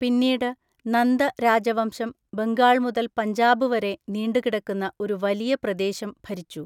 പിന്നീട്, നന്ദ രാജവംശം ബംഗാൾ മുതൽ പഞ്ചാബ് വരെ നീണ്ടുകിടക്കുന്ന ഒരു വലിയ പ്രദേശം ഭരിച്ചു.